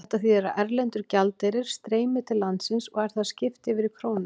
Þetta þýðir að erlendur gjaldeyrir streymir til landsins og er þar skipt yfir í krónur.